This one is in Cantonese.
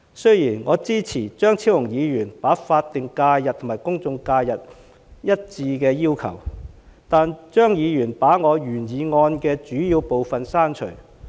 雖然我支持張超雄議員把法定假日和公眾假期劃一的要求，但張議員把我原議案的主要部分刪除。